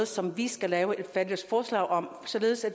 som vi skal lave et fælles forslag om således at